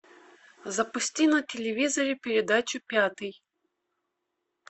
запусти на телевизоре передачу пятый